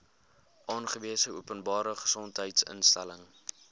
aangewese openbare gesondheidsinstelling